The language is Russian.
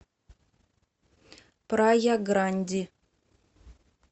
прая гранди